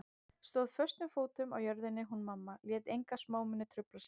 Stóð föstum fótum á jörðinni hún mamma, lét enga smámuni trufla sig.